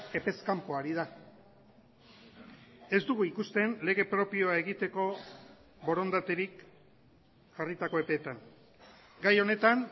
epez kanpo ari da ez dugu ikusten lege propioa egiteko borondaterik jarritako epeetan gai honetan